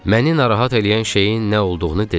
Məni narahat eləyən şeyin nə olduğunu dedim.